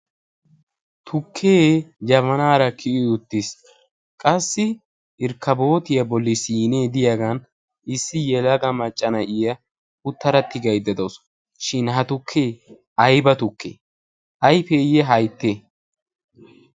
Tukkee jabanaara kiyi uttiis. Qassi irkkabootiya bolli sinee diyagaa bollan issi yelaga macca na'iya uttada tigaydda de'awusu. Shin ha tukkee ayba tukkee? Ayfeeyye hayttee?